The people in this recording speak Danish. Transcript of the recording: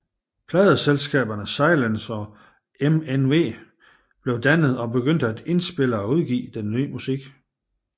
Pladeselskaberne Silence og MNW blev dannet og begyndte at indspille og udgive denne nye musik